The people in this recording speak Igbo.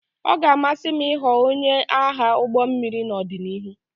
Ọ ga-amasị m ịghọ onye agha ụgbọ mmiri n'ọdịnihu